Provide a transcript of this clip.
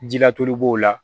Jilatulu b'o la